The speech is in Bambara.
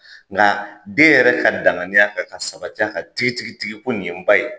Nka den yɛrɛ ka dangaɲiya kan ka sabati a kan tigitigitigi ko nin ye ba ye,